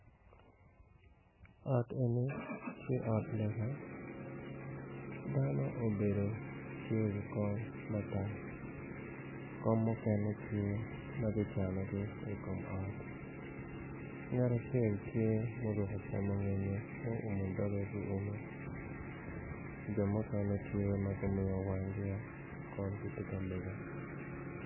Ot eni tye ot lega dano obedo tye i wi kom matar kom mukene tye magicanogi i kom ot ngat acel tye ma oruko ocamo ngenyo mo umo doge ki ume jo mukene tye ma gumiyo wangi o kun gitye ka lega.